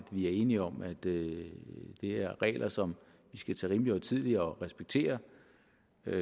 vi er enige om at det er regler som vi skal tage rimelig højtideligt og respektere